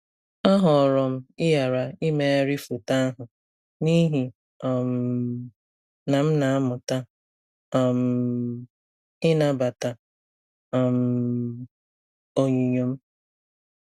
A họọrọ m ịghara imegharị foto ahụ n'ihi um na m na-amụta um ịnabata um onyinyo m.